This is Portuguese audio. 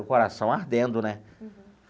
E o coração ardendo, né? Uhum.